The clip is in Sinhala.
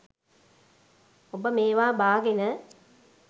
ඔබ මේවා බාගෙන